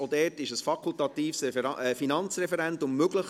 Auch dort ist ein fakultatives Finanzreferendum möglich.